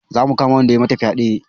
Za mu kama wanda ya yi mata fyaɗe